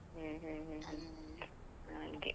ಹ್ಮ್ ಹ್ಮ್ ಹ್ಮ್ ಹ್ಮ್ ಹಾಗೆ.